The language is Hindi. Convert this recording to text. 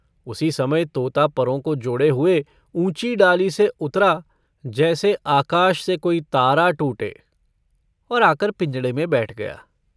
उसी समय तोता परों को जोड़े हुए ऊँची डाली से उतरा जैसे आकाश से कोई तारा टूटे और आकर पिंजड़े में बैठ गया।